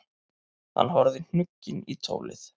Hann horfði hnugginn í tólið.